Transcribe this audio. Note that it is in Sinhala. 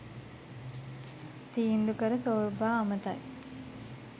තීන්දු කර සෝර්බා අමතයි